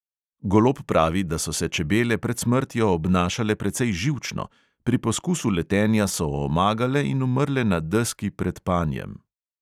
Golob pravi, da so se čebele pred smrtjo obnašale precej živčno, pri poskusu letenja so omagale in umrle na deski pred panjem.